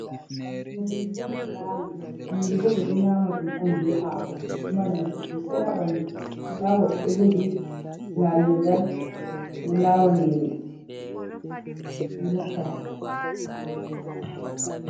Ɗo nyiri on ɓe lawi, nyiri bo ɓeɗo nyama ɗum on be hako, ɗo mari nafu sosei ha ɓandu, nda ɗo goɗɗo ɗo jogi lawirgal oɗo lawa nyiri oɗo rotta.